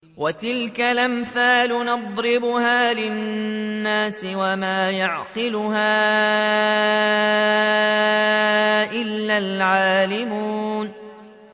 وَتِلْكَ الْأَمْثَالُ نَضْرِبُهَا لِلنَّاسِ ۖ وَمَا يَعْقِلُهَا إِلَّا الْعَالِمُونَ